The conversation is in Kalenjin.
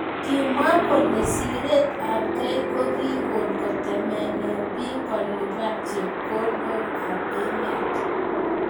Kimwa kole siret ab kei kokikon kotemene bik kolipan chepkondok ab emet.